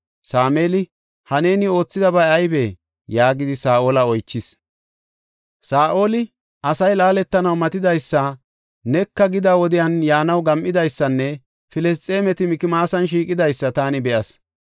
Sameeli, “Ha neeni oothidabay aybee?” yaagidi Saa7ola oychis. Saa7oli, “Asay laaletanaw matidaysa, neka gida wodiyan yaanaw gam7idaysanne Filisxeemeti Mikmaasan shiiqidaysa taani be7as.